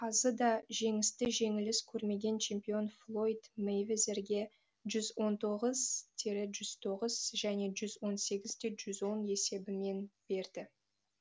қазы да жеңісті жеңіліс көрмеген чемпион флойд мэйвезерге жүз он тоғыз тире жүз тоғыз және жүз он сегіз де жүз он есебімен берді